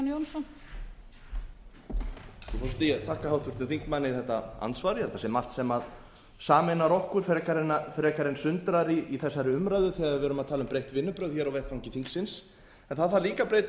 frú forseti ég þakka háttvirtum þingmanni þetta andsvar ég held að það sé margt sem sameinar okkur frekar en sundrar í þessari umræðu þegar við erum að tala um breytt vinnubrögð á vettvangi þingsins en það þarf líka að breyta